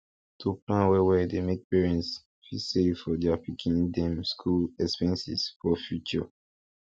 to plan wellwell dey make parents fit save for their pikin dem school expenses for future